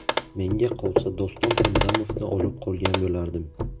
Menga qolsa Doston Hamdamovni olib qolgan bo‘lardim.